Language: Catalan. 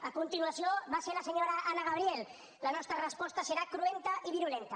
a continuació va ser la senyora anna gabriel la nostra resposta serà cruenta i virulenta